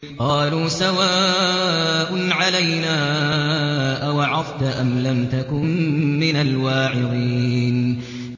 قَالُوا سَوَاءٌ عَلَيْنَا أَوَعَظْتَ أَمْ لَمْ تَكُن مِّنَ الْوَاعِظِينَ